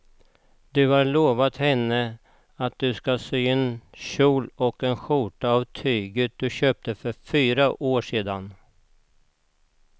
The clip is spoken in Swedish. Du har lovat henne att du ska sy en kjol och skjorta av tyget du köpte för fyra år sedan.